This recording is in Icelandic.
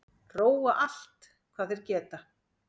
Róa allt hvað þeir geta